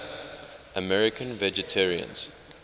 american vegetarians